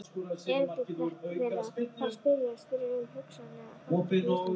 Erindi þeirra var að spyrjast fyrir um hugsanlega þátttöku Íslendinga.